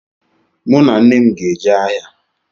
Mụ na nne m ga-eje ahịa